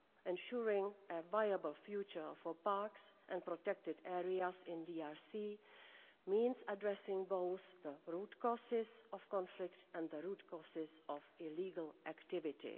Ensuring a viable future for parks and protected areas in the DRC means addressing both the root causes of conflict and the root causes of illegal activity.